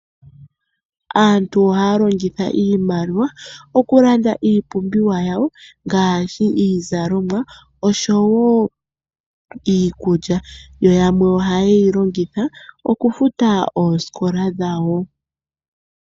Aantu ohaya longitha iimaliwa okulanda iipumbiwa yawo ngaashi iizalomwa osho wo iikulya. Yo yamwe ohaye yi longitha okufuta oosikola dhawo.